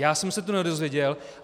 Já jsem se to nedozvěděl.